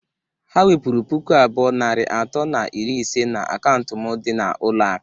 Ha wepụru puku abụọ, narị atọ na iri ise na akaụntụ m dị n'ụlọ akụ.